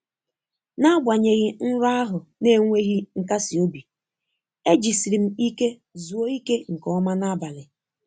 N'agbanyeghị nrọ ahụ na-enweghị nkasi obi, e jisiri m ike zuo ike nke ọma n'abalị.